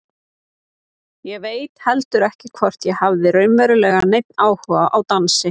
Ég veit heldur ekki hvort ég hafði raunverulega neinn áhuga á dansi.